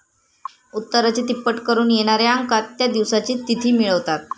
उत्तराची तिप्पट करून येणाऱ्या अंकात त्या दिवसाची तिथी मिळवतात